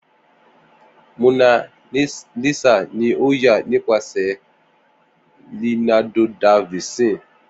Mona Lisa ni o ya nipasẹ Leonardo Da Vinci